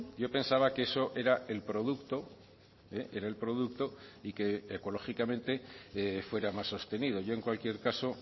yo pensaba que eso era el producto eh era el producto y que ecológicamente fuera más sostenido yo en cualquier caso